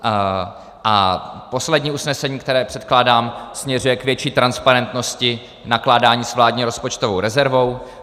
A poslední usnesení, které předkládám, směřuje k větší transparentnosti nakládání s vládní rozpočtovou rezervou.